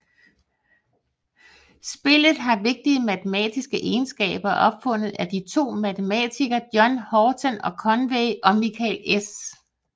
Spillet har vigtige matematiske egenskaber og er opfundet af de to matematikere John Horton Conway og Michael S